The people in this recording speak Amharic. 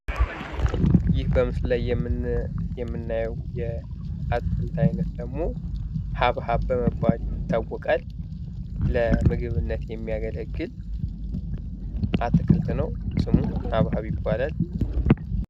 ይህ በምስሉ ላይ የምናየው የአትክልት ዐይነት ደግሞ ሀብሀብ በመባል ይታወቃል ለምግብነት የሚያገለግል አትክልት ነው። ስሙም ናፐር ይባላል።